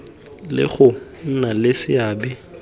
le go nna le seabe